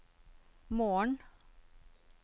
morgen